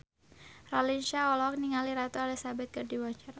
Raline Shah olohok ningali Ratu Elizabeth keur diwawancara